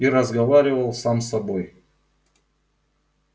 и разговаривал сам с собой